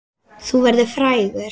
Þú verður frægur!